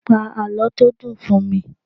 Pa àlọ́ tó dùn fún mi!